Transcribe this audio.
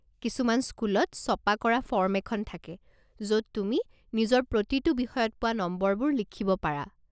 কিছুমান স্কুলত ছপা কৰা ফৰ্ম এখন থাকে য'ত তুমি নিজৰ প্ৰতিটো বিষয়ত পোৱা নম্বৰবোৰ লিখিব পাৰা।